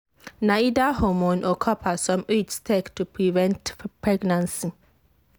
na either hormone or copper some iuds take work to prevent pregnancy.